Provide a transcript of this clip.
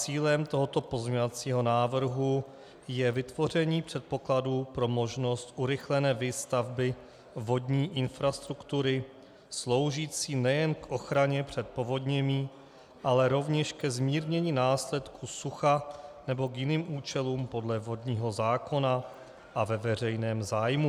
Cílem tohoto pozměňovacího návrhu je vytvoření předpokladu pro možnost urychlené výstavby vodní infrastruktury sloužící nejen k ochraně před povodněmi, ale rovněž ke zmírnění následků sucha nebo k jiným účelům podle vodního zákona a ve veřejném zájmu.